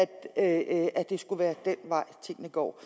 at at det skulle være den vej tingene går